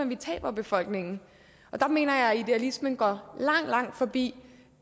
vi taber befolkningen og der mener jeg at idealismen går langt langt forbi